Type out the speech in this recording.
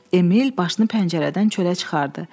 Emil başını pəncərədən çölə çıxardı.